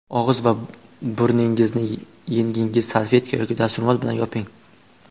Og‘iz va burningizni yengingiz, salfetka yoki dastro‘mol bilan yoping”.